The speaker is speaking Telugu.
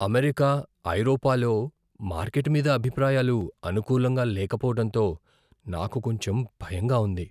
అమెరికా, ఐరోపాలో మార్కెట్ మీద అభిప్రాయాలు అనుకూలంగా లేకపోవటంతో నాకు కొంచెం భయంగా ఉంది.